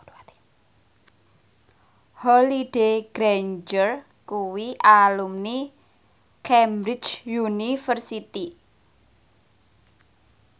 Holliday Grainger kuwi alumni Cambridge University